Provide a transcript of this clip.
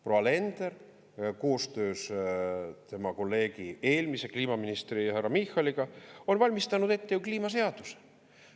Proua Alender koostöös tema kolleegi, eelmise kliimaministri härra Michaliga on valmistanud ette ju kliimaseaduse.